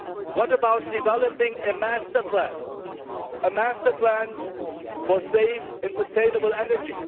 What about developing a master plan for safe and sustainable energy?